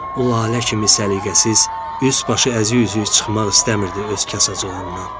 O lalə kimi səliqəsiz, üst başı əzi üzüyü çıxmaq istəmirdi öz kasacığından.